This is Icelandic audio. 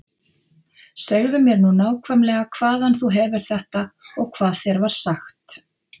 Segðu mér nú nákvæmlega hvaðan þú hefur þetta og hvað þér var sagt.